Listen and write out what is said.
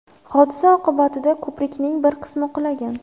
Hodisa oqibatida ko‘prikning bir qismi qulagan.